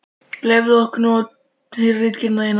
Leyfðu okkur nú að heyra ritgerðina þína!